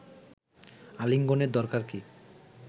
আলিঙ্গনের দরকার কি